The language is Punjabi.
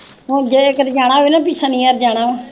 ਹੁਣ ਜੇ ਕਿਤੇ ਜਾਣਾ ਹੋਵੇ ਨਾ ਪੀ ਸ਼ਨੀਵਾਰ ਜਾਣਾ ਵਾ।